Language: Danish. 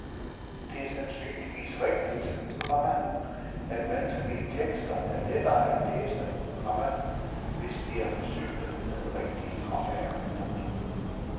Det er sandsynligvis rigtigt, komma at vanskelige tekster er lettere at læse, komma hvis de er forsynet med rigtige kommaer. punktum